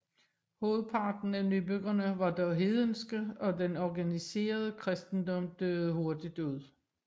Hovedparten af nybyggerne var dog hedenske og den organiserede kristendom døde hurtigt ud